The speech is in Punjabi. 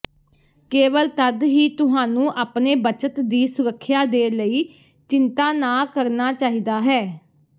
ਕੇਵਲ ਤਦ ਹੀ ਤੁਹਾਨੂੰ ਆਪਣੇ ਬੱਚਤ ਦੀ ਸੁਰੱਖਿਆ ਦੇ ਲਈ ਚਿੰਤਾ ਨਾ ਕਰਨਾ ਚਾਹੀਦਾ ਹੈ